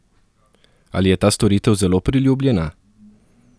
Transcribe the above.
Ali je ta storitev zelo priljubljena?